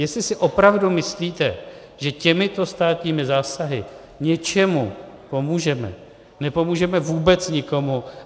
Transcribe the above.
Jestli si opravdu myslíte, že těmito státními zásahy něčemu pomůžeme - nepomůžeme vůbec nikomu.